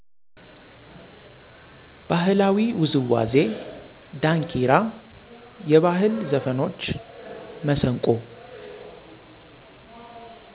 ባህላዊ ዉዝዋዜ ዳንኪራ የባህል ዘፍኖች፣ መሰንቆ።